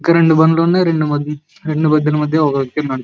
ఇక్కడ రెండు బండి లు ఉన్నాయ్ రెండు బండిలా మధ్య ఒక వ్యక్తి ఉన్నాడు.